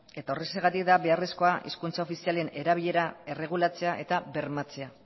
eta horrexegatik da beharrezkoa hizkuntza ofizialen erabilera erregulatzea eta bermatzea